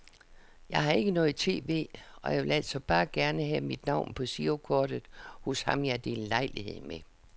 Jeg har ikke noget tv, og jeg ville altså bare gerne have mit navn på girokortet hos ham jeg deler lejlighed med.